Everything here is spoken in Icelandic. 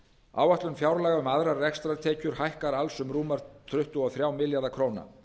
áætlun fjárlaga um aðrar rekstrartekjur hækkar alls um rúma tuttugu og þrjá milljarða króna